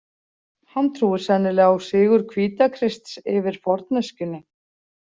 Hann trúir sennilega á sigur Hvítakrists yfir forneskjunni.